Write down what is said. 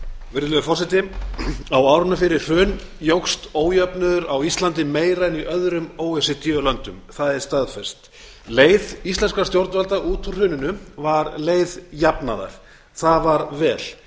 virðulegi forseti á árunum fyrir hrun jókst ójöfnuður á íslandi meira en í öðrum o e c d löndum það er staðfest leið íslenskra stjórnvalda út úr hruninu var leið jafnaðar það var vel